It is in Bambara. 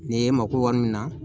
Nin ye mako wari min na